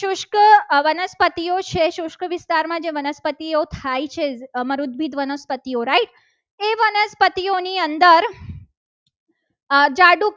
વનસ્પતિઓ છે. શુષ્ક વિસ્તારમાં જે વનસ્પતિઓ થાય છે. right એ વનસ્પતિઓની અંદર ઝાડ ઉપર